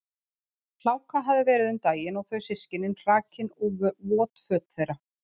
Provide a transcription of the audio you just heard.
Hláka hafði verið um daginn og þau systkinin hrakin og vot föt þeirra.